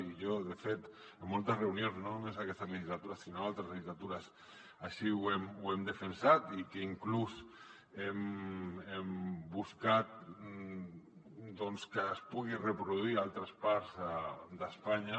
i jo de fet en moltes reunions no només en aquesta legislatura sinó en altres legislatures així ho hem defensat i que inclús hem buscat doncs que es pugui reproduir en altres parts d’espanya